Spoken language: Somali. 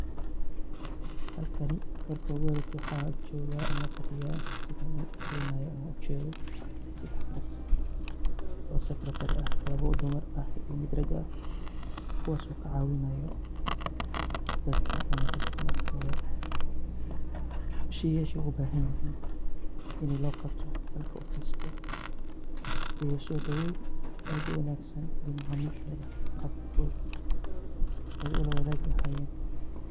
Halkan marki ugu horeysoh waxa fadiyah setha u jeedoh sedax qoof oo secretary lawa dumar mid rag ah kuwaso kucawinayo dadakaamah customer Kotha, sheeyka ugu bathanyahin in lo Qabtoh Halka oo ee sodobeyn aad u wanagsan iyo macamishotha qabkabfuthut ulawathaki lahayan.